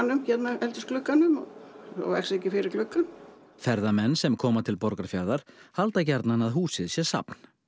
eldhúsglugganum svo vaxi ekki fyrir gluggann ferðamenn sem koma til Borgarfjarðar halda gjarnan að húsið sé safn